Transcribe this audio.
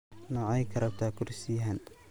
Nocey karabtaa kursiyahan.